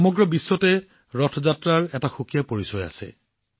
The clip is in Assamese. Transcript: সমগ্ৰ বিশ্বতে ৰথ যাত্ৰাৰ এক অনন্য পৰিচয় আছে